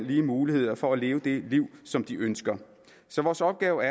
lige muligheder for at leve det liv som de ønsker så vores opgave